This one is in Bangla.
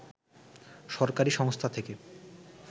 সরকারি সংস্থা থেকে